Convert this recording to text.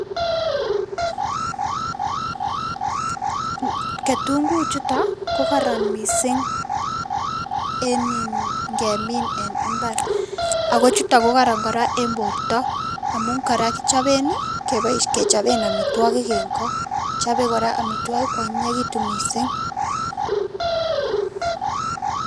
Ketunguik chuton ko koron missing en ingemin en imbar ako chuton koraa ko koron en borto amun koraa kichoben nii kechobe omitwokik en koo chobe koraa omitwoki kwonyinyekitun missing.